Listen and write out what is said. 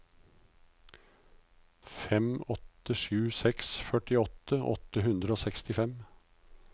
fem åtte sju seks førtiåtte åtte hundre og sekstifem